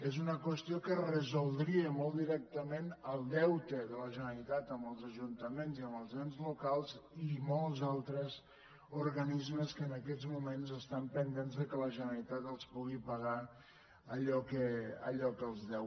és una qüestió que resoldria molt directament el deute de la generalitat amb els ajuntaments i amb els ens lo·cals i molts altres organismes que en aquests moments estan pendents que la generalitat els pugui pagar allò que els deu